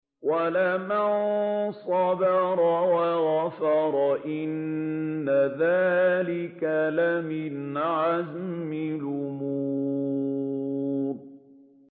وَلَمَن صَبَرَ وَغَفَرَ إِنَّ ذَٰلِكَ لَمِنْ عَزْمِ الْأُمُورِ